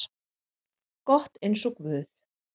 gott eins og guð.